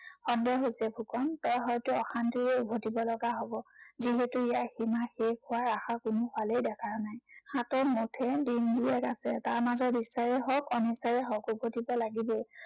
সন্দেহ হৈছে ফুকন, তই হয়তো অশান্তিৰেই উভটিব লগা হব। যিহেতু ইয়াৰ সীমা শেষ হোৱাৰ আশা কোনো ফালেই দেখা নাই। হাতত মুঠেই দিনচেৰেক আছে। তাৰ মাজত ইচ্ছাৰেই হওক অনিচ্ছাৰেই হওক উভটিব লাগিবই।